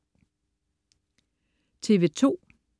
TV2: